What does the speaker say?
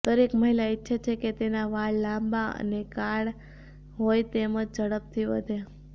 દરેક મહિલા ઈચ્છે છે કે તેના વાળ લાંબા અને કાળ હોય તેમજ ઝડપથી વધે